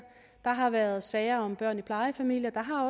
der har været sager om børn i plejefamilier og